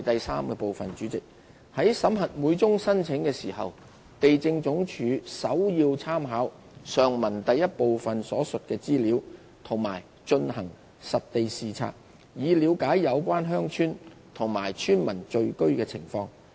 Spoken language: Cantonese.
三在審核每宗申請時，地政總署首要參考上文第一部分所述的資料及進行實地視察，以了解有關鄉村及村民聚居的情況。